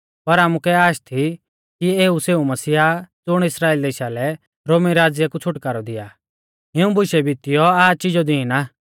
पर आमुकै आश थी कि एऊ सेऊ मसीहा आ ज़ुण इस्राइल देशा लै रोमी राज़्य कु छ़ुटकारौ दिया आ इऊं बुशै बितीऔ आज़ चिज़ौ दीन आ